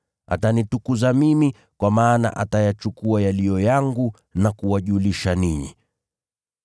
Atanitukuza mimi, kwa maana atayachukua yaliyo yangu na kuwajulisha ninyi.